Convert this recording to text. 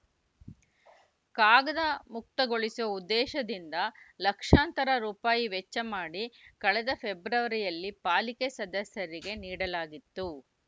ಕಾಗದ ಮುಕ್ತಗೊಳಿಸುವ ಉದ್ದೇಶದಿಂದ ಲಕ್ಷಾಂತರ ರುಪಾಯಿ ವೆಚ್ಚ ಮಾಡಿ ಕಳೆದ ಫೆಬ್ರವರಿಯಲ್ಲಿ ಪಾಲಿಕೆ ಸದಸ್ಯರಿಗೆ ನೀಡಲಾಗಿತ್ತು